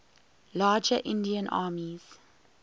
larger indian armies